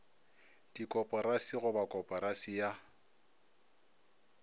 dikoporasi go ba koporasi ya